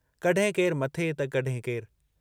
कॾहिं केर मथे त कॾहिं केर